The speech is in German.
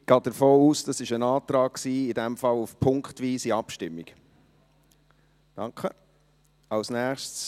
Ich gehe davon aus, dass dies ein Antrag auf punktweise Abstimmung war.